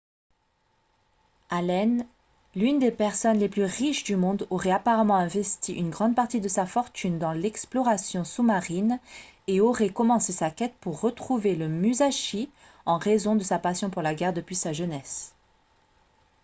allen l'une des personnes les plus riches du monde aurait apparemment investi une grande partie de sa fortune dans l'exploration sous-marine et aurait commencé sa quête pour retrouver le musashi en raison de sa passion pour la guerre depuis sa jeunesse